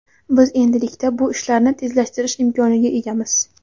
Biz endilikda bu ishlarni tezlashtirish imkoniga egamiz.